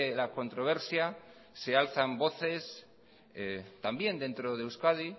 la controversia se alzan las voces también dentro de euskadi